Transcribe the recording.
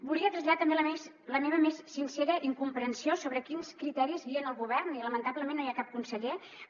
volia traslladar també la meva més sincera incomprensió sobre quins criteris guien el govern i lamentablement no hi ha cap conseller però